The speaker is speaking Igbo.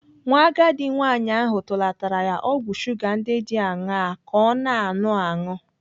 Nwa agadi nwaanyị ahụ tụlatara ya ọgwụ shuga ndị dị aṅaa ka ọ na-anụ aṅụ.